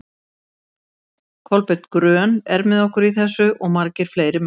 Kolbeinn grön er með okkur í þessu, og margir fleiri menn.